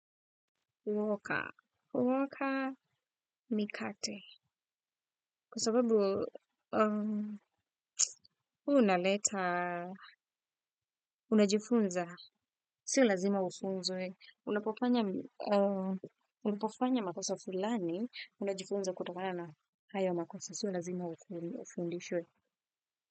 Huoka. Huoka mikate. Kwa sababu unaleta, unajifunza, sio lazima ufunzwe. Unapofanya makosa fulani, unajifunza kutokana na haya makosa, sio lazima ufundishwe.